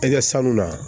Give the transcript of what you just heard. I ka sanu na